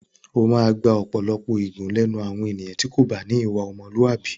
O máa gba ọ̀pọ̀lọpọ̀ ègún lẹ́nu àwọn ènìyàn tí o kò bá ní ìwà ọmọlúàbí.